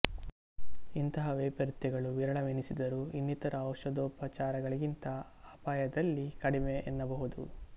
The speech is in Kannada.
ಇಂತಹ ವೈಪರೀತ್ಯಗಳು ವಿರಳವೆನಿಸಿದರೂ ಇನ್ನಿತರ ಔಷಧೋಪಚಾರಗಳಿಗಿಂತ ಅಪಾಯದಲ್ಲಿ ಕಡಿಮೆ ಎನ್ನಬಹುದು